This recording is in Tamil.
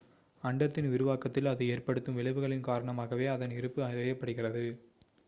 அண்டத்தின் விரிவாக்கத்தில் அது ஏற்படுத்தும் விளைவுகளின் காரணமாகவே அதன் இருப்பு அறியப்படுகிறது